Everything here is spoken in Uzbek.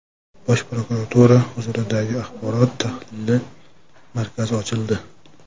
Bosh prokuratura huzuridagi axborot-tahlil markazi ochildi.